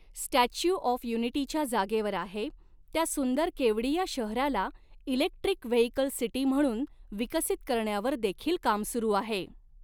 Statue of Unity ज्या जागेवर आहे, त्या सुंदर केवड़िया शहराला इलेक्ट्रिक वेहिकल सिटी म्हणून विकसित करण्यावर देखील काम सुरु आहे.